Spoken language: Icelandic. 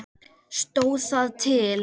Stóð það til?